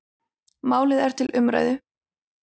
Málið er til umræðu.